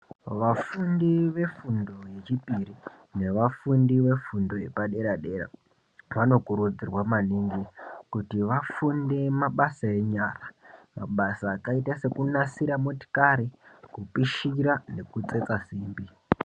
Vafundi vefundo yechipiri nevafundi vefundo yepadera-dera. Vanokurudzirwa maningi kuti vafunde mabasa enyara. Mabasa akaita sekunasira motikari, kupishira nekutsetsa. simbi.